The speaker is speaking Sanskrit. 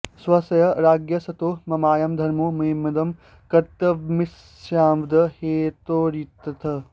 स्वस्य राज्ञः सतो ममायं धर्मो ममेदं कर्तव्यमित्यस्मादेव हेतोरित्यर्थः